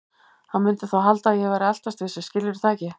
Hann mundi þá halda að ég væri að eltast við sig, skilurðu það ekki?